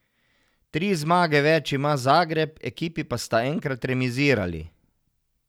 Tri zmage več ima Zagreb, ekipi pa sta enkrat remizirali.